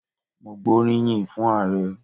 Mo gbóríyìn fún Ààrẹ.